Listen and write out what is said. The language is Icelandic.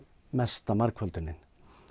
mesta margföldunin